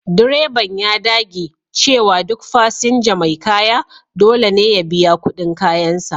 Direban ya dage cewa duk fasinja mai kaya dole ne ya biya kudin kayansa.